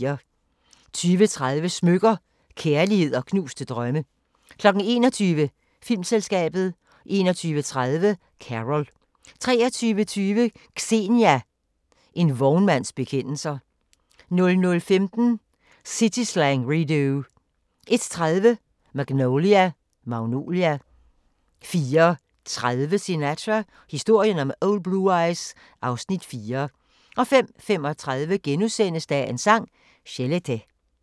20:30: Smykker – Kærlighed & knuste drømme 21:00: Filmselskabet 21:30: Carol 23:20: Xenia – en vognmands bekendelser 00:15: City Slang Redux 01:30: Magnolia 04:30: Sinatra – historien om Old Blue Eyes (Afs. 4) 05:35: Dagens Sang: Chelete *